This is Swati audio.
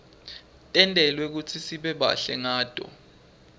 tentelwe kutsisibe bahle ngato